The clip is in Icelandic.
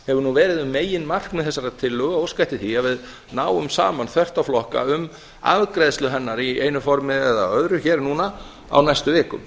hefur verið um meginmarkmið þessarar tillögu óska eftir því að við náum saman þvert á flokka um afgreiðslu hennar í einu formi eða öðru hér núna á næstu vikum